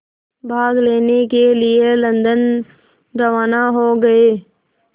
भाग लेने के लिए लंदन रवाना हो गए